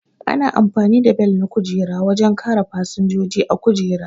Ana amfani da Bel na kujera wajen kare fasinjoji a kujera